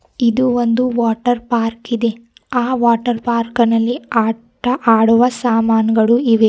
ಇದು ಒಂದು ವಾಟರ್ ಪರ್ಕಿದೆ ಆ ವಾಟರ್ ಪಾರ್ಕಿನಲ್ಲಿ ಆಟ ಆಡುವ ಸಮಾನ್ ಗಳು ಇವೆ.